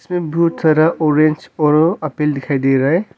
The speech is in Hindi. में बहुत सारा ओरेंज और अप्पेल दिखाई दे रहा है।